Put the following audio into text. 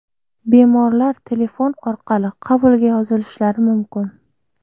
Bemorlar telefon orqali qabulga yozilishlari mumkin.